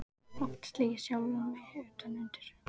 Oft slegið sjálfan mig utan undir.